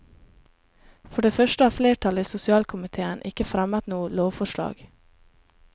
For det første har flertallet i sosialkomitéen ikke fremmet noe lovforslag.